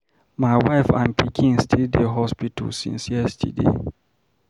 My wife and pikin still dey hospital since yesterday.